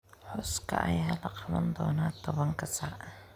Xuska ayaa la qaban doonaa tobanka saac.